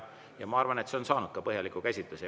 Ja ma arvan, et see on ka saanud põhjaliku käsitluse.